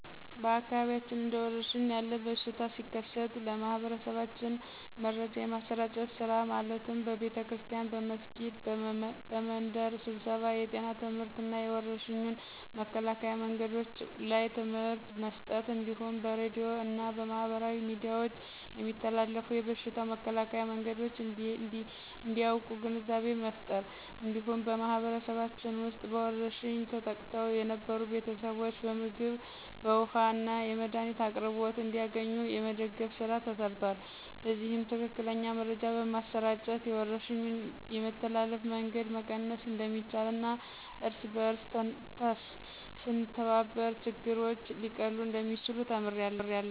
በአካባቢያችን እንደ ወረርሽን ያለ በሽታ ሲከሰት ለማህበረሰባችን መረጃ የማሰራጨት ስራ ማለትም በቤተክርስቲያን፣ በመስጊድ፣ በመንደር ስብሰባ የጤና ትምህርትና የወረርሽኙን መከላከያ መንገዶች ላይ ትምህርት መስጠት እንዲሁም በሬድዮ እና በማህበራዊ ሚዲያዎች የሚተላለፉ የበሽታው መከላከያ መንገዶች እንዲያቁ ግንዛቤ መፍጠር። እንዲሁም በማህበረሰባችን ውስጥ በወረርሽኝ ተጠቅተው የነበሩትን ቤተሰቦች በምግብ፣ በውሀ እና የመድኃኒት አቅርቦት እንዲያገኙ የመደገፍ ስራ ተሰርቷል። በዚህም ትክክለኛ መረጃ በማሰራጨት የወረርሽኙን የመተላለፍ መንገድ መቀነስ እንደሚቻልና እርስ በእርስ ስንተባበር ችግሮች ሊቀሉ እንደሚችሉ ተምሬያለሁ።